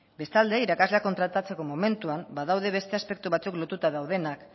bestalde irakasleak kontratatzeko momentuan badaude beste aspektu batzuk lotuta daudenak